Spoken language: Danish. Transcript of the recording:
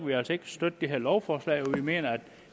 vi altså ikke støtte det her lovforslag fordi vi mener at